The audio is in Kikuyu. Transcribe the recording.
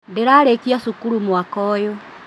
Ndĩrarĩkia cukuru mwaka ũyũ